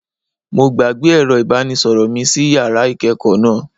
Mo gbàgbé ẹ̀rọ ìbánisọ̀rọ̀ mi sí yàrá ìkẹ́ẹ̀kọ̀ náà.